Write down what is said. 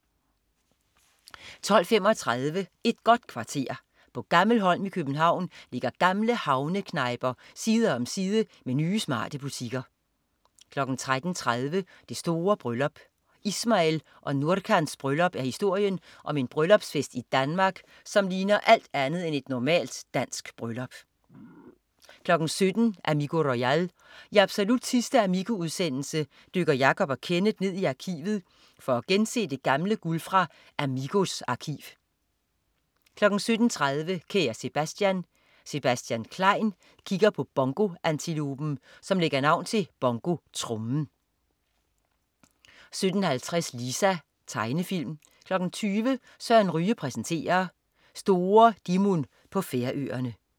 12.35 Et godt kvarter. På Gammelholm i København ligger gamle havneknejper side om side med nye, smarte butikker 13.30 Det store bryllup. Ismail og Nurcans bryllup er historien om en bryllupsfest i Danmark, som ligner alt andet end et normalt dansk bryllup 17.00 Amigo royal. I absolut sidste "Amigo"-udsendelse dykker Jacob og Kenneth ned i arkivet for at gense det gamle guld fra "Amigos" arkiv 17.30 Kære Sebastian. Sebastian Klein kigger på bongoantilopen, som lægger navn til bongotrommen 17.50 Lisa. Tegnefilm 20.00 Søren Ryge præsenterer. Store Dimun på Færøerne